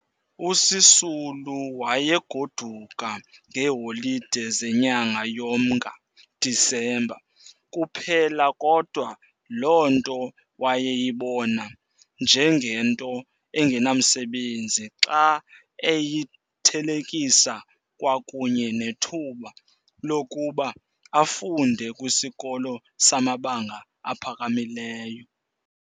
USisulu wayegoduka ngeeholide zenyanga yoMnga, December, kuphela kodwa loo nto wayeyibona njengento enganamsebenzi xa eyithelekisa kwakunye nethuba lokuba afunde kwisikolo samabanga aphakamileyo.